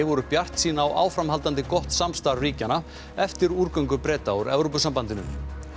voru bjartsýn á áframhaldandi gott samstarf ríkjanna eftir Breta úr Evrópusambandinu